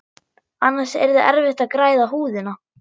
Annars yrði erfitt að græða húðina.